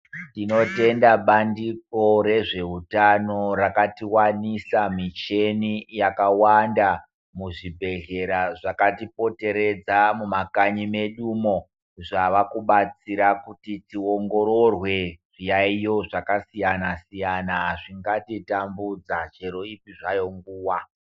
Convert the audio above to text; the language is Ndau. Tinotenda bandiko rezvehutano rakatiwanisa michini yakawanda muzvibhedhlera zvakatipoteredza mumakanyi medu umo. Zvava kubatsira kuti tiongororwe zviyaiyo zvakasiyana siyana zvingatitambudza chero ipi zvayo nguwa.